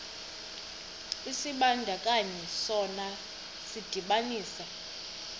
isibandakanyi sona sidibanisa